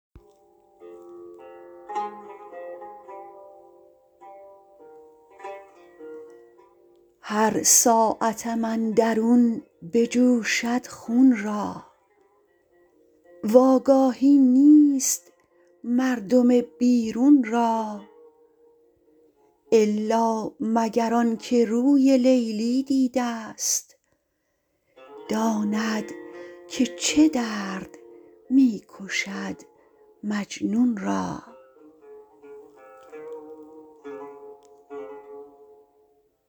هر ساعتم اندرون بجوشد خون را وآگاهی نیست مردم بیرون را الا مگر آن که روی لیلی دیده ست داند که چه درد می کشد مجنون را